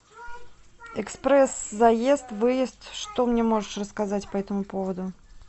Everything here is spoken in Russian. экспресс заезд выезд что мне можешь рассказать по этому поводу